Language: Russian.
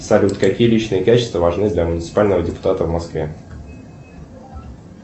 салют какие личные качества важны для муниципального депутата в москве